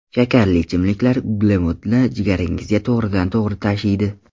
Shakarli ichimliklar uglevodni jigaringizga to‘g‘ridan to‘g‘ri tashiydi.